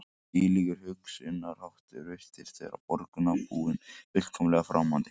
Þvílíkur hugsunarháttur virtist vera borgarbúum fullkomlega framandi